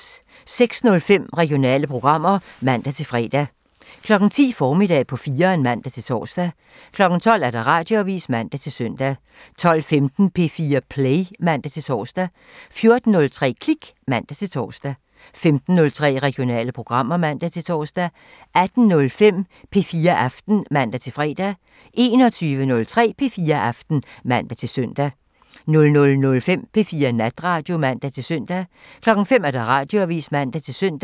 06:05: Regionale programmer (man-fre) 10:03: Formiddag på 4'eren (man-tor) 12:00: Radioavisen (man-søn) 12:15: P4 Play (man-tor) 14:03: Klik (man-tor) 15:03: Regionale programmer (man-tor) 18:05: P4 Aften (man-fre) 21:03: P4 Aften (man-søn) 00:05: P4 Natradio (man-søn) 05:00: Radioavisen (man-søn)